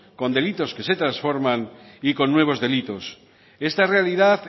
con delitos que se trasforman y con nuevos delitos esta realidad